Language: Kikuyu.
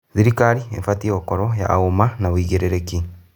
Thirikari ĩbatiĩ gũkorwo na ũma na ya wĩigĩrĩrĩki.